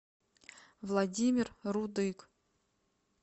владимир рудык